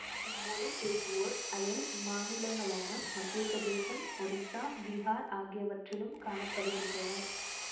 இம் மொழி பேசுவோர் அயல் மாநிலங்களான மத்திய பிரதேசம் ஒரிஸ்ஸா பீஹார் ஆகியவற்றிலும் காண படுகின்றனர்